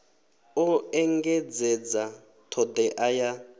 o engedzedza t hodea ya